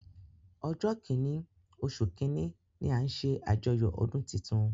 Ojo kinni osu kinni ni a ńṣe ajoyo ọdun titun.